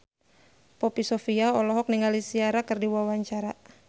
Poppy Sovia olohok ningali Ciara keur diwawancara